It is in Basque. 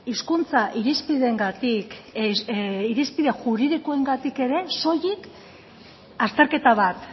hizkuntza irizpideengatik juridikoengatik ere soilik azterketa bat